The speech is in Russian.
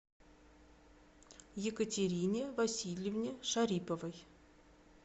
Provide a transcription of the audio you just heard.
екатерине васильевне шариповой